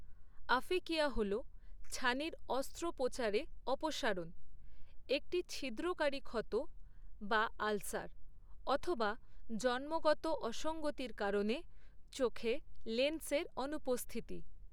Aphakia হল ছানির অস্ত্রোপচারে অপসারণ, একটি ছিদ্রকারী ক্ষত বা আলসার, অথবা জন্মগত অসঙ্গতির কারণে চোখে লেন্সের অনুপস্থিতি।